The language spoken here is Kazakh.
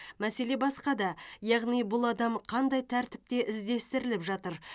мәселе басқада яғни бұл адам қандай тәртіпте іздестіріліп жатыр